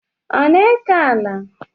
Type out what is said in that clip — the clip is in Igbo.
Ọ na-eke ala?